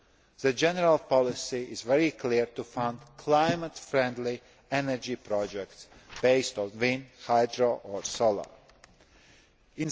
fuels. The general policy is very clear to fund climate friendly energy projects based on wind, hydraulic or solar